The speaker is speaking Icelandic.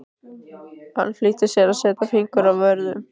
Hann flýtti sér að setja fingur að vörum.